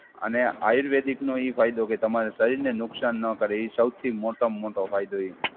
અને આયુર્વેદિકનો એ ફાયદો કે તમારા શરીરને નુકસાન ન કરે. એ સૌથી મોટામાં મોટો હોય તો એ.